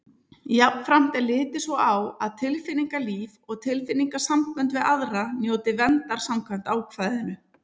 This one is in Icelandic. Jafnframt er litið svo á að tilfinningalíf og tilfinningasambönd við aðra njóti verndar samkvæmt ákvæðinu.